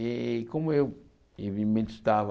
E como eu, evimente, estava...